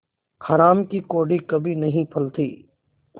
हराम की कौड़ी कभी नहीं फलती